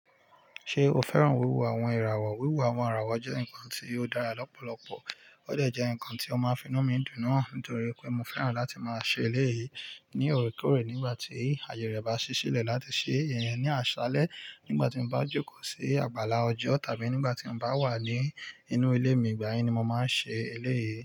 Ṣé o fẹ́ràn wíwo àwọn ìràwọ̀? Wíwo àwọn ìràwọ̀ jẹ́ nǹkan tí ó dára lọ́pọ̀lọpọ̀, ó dẹ̀ jẹ́ nǹkan tí ó máa finú mi dùn náà nítorí pé mo fẹ́ràn láti máa ṣe eléyìí ní òkèèrè nígbà tí ayẹre bá ṣí sílẹ̀, láti ṣe ìyẹn ní àṣálẹ́ nígbà tí mo bá jókòó sí àgbàlá ọjọ́ tàbí nígbà tí mo bá wà ní inú ilé mi, ìgbà yẹn ni mo máa ń ṣe eléyìí.